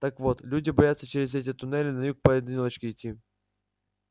так вот люди боятся через эти туннели на юг поодиночке идти